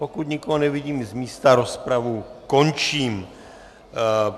Pokud nikoho nevidím z místa, rozpravu končím.